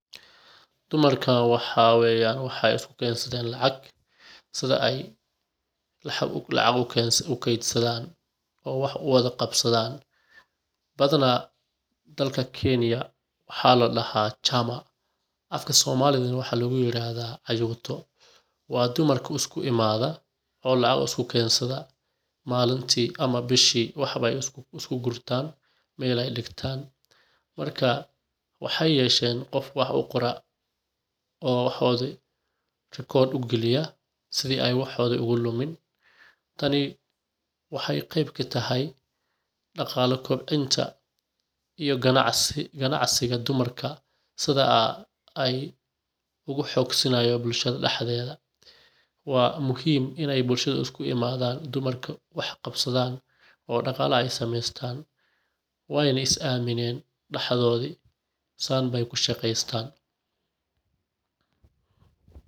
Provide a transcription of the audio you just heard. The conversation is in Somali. Dumarka waxa weyan, waxay iskukensadhen lacag sidha ay lacag uketsadhan, oo wax uwadha gabsadhan, badhanaa dalka kenya maxa ladax chama afka somaliga waxa laguyiraxdha ayuuto, wa dumarka iskuimadha, oo lacag iskuketsadha malinti ama bishi wax ay iskugurta, mel ay digtan, marka waxay yeshen gof wax ugora,o waxodi record ugaliya, sidhi ay waxodhi ogalumin, tani waxa qeb kataxay, daqalaa kordinta iyo ganacsi , qanacsiga dumarka sidha ay uguxogsanayu bulshadha daxdedha wa muxiim inay bulshada iskuimadhan, dumarka wax qabsadhan o daqala ay samestan wayna is amiinen daxdhodhi saanay kushaqestan.